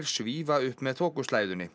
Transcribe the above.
svífa upp með